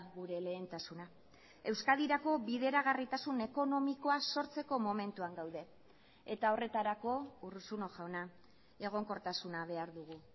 gure lehentasuna euskadirako bideragarritasun ekonomikoa sortzeko momentuan gaude eta horretarako urruzuno jauna egonkortasuna behar dugu